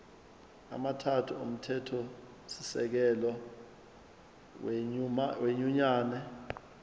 amathathu omthethosisekelo wenyunyane